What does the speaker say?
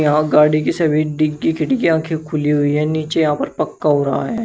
यहां गाड़ी की सभी डिग्गी की खी खिड़कियां की खुली हुई हैं। नीचे यहां पर पक्का हो रहा है।